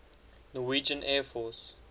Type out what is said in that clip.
norwegian air force